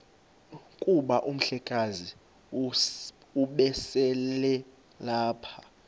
kuba umhlekazi ubeselelapha